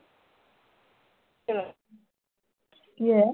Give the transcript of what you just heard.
ਕੀ ਹੋਇਆ